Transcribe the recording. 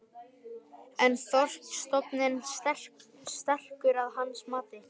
En er þorskstofninn sterkur að hans mati?